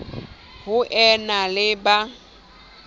ho e na le ba